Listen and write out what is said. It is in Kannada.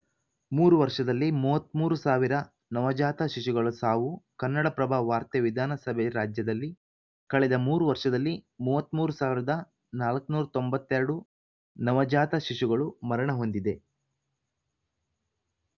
ಮೂರು ವರ್ಷದಲ್ಲಿ ಮೂವತ್ತ್ ಮೂರ್ ಸಾವಿರ ನವಜಾತ ಶಿಶುಗಳ ಸಾವು ಕನ್ನಡಪ್ರಭ ವಾರ್ತೆ ವಿಧಾನಸಭೆ ರಾಜ್ಯದಲ್ಲಿ ಕಳೆದ ಮೂರು ವರ್ಷದಲ್ಲಿ ಮೂವತ್ತ್ ಮೂರು ನಾಲ್ಕುನೂರ ತೊಂಬತ್ತ್ ಎರಡು ನವಜಾತ ಶಿಶುಗಳು ಮರಣ ಹೊಂದಿವೆ